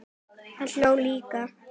Hann hló líka.